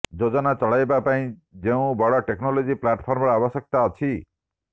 ଯୋଜନା ଚଳାଇବା ପାଇଁ ଯେଉଁ ବଡ଼ ଟେକ୍ନୋଲୋଜି ପ୍ଲାଟଫର୍ମର ଆବଶ୍ୟକତା ଅଛି